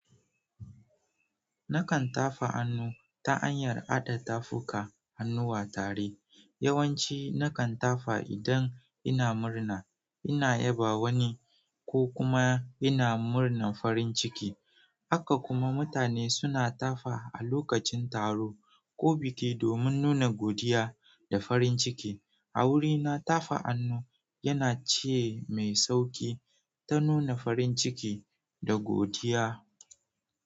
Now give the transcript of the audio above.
Na kan tafa hannu ta hanyar hada tafuka hannuwa tare, yawanci na kan tafa idan ina murna, ina yaba wani ko kuma ina murnar farin ciki. Haka kuma mutane suna tafa a lokacin taro ko biki domin nuna godiya da farin ciki. A wurina, tafa hannu yana ce mai sauki ta nuna farin ciki da godiya.